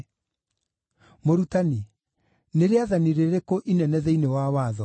“Mũrutani, nĩ rĩathani rĩrĩkũ inene thĩinĩ wa Watho?”